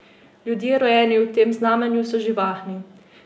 Ljudje, rojeni v tem znamenju, so živahni.